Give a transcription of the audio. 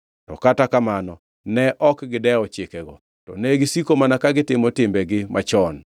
To kata kamano, ne ok gidewo chikego, to negisiko mana ka gitimo timbegi machon.